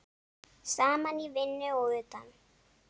Saman í vinnu og utan.